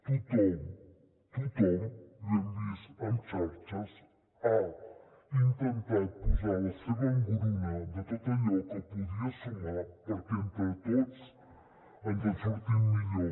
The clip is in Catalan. tothom tothom ho hem vist en xarxes ha intentat posar la seva engruna de tot allò que podia sumar perquè entre tots ens en sortim millor